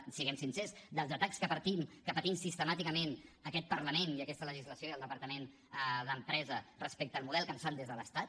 siguem sincers dels atacs que patim sistemàticament aquest parlament i aquesta legislació i el departament d’empresa respecte al model que ens fan des de l’estat